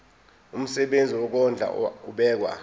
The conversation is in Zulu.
umsebenzi wokondla ubekwa